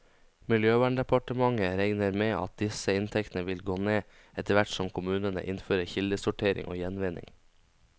Miljøverndepartementet regner med at disse inntektene vil gå ned, etterhvert som kommunene innfører kildesortering og gjenvinning.